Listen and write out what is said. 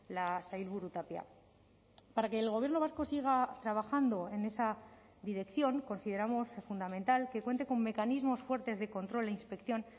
la sailburu tapia para que el gobierno vasco siga trabajando en esa dirección consideramos fundamental que cuente con mecanismos fuertes de control e inspección